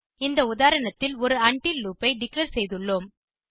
இந்த உதாரணத்தில் ஒரு உண்டில் லூப் ஐ டிக்ளேர் செய்துள்ளோம்